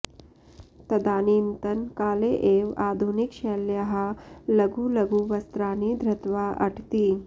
तदानीन्तन काले एव आधुनिकशैल्याः लघु लघु वस्त्राणि धृत्वा अटति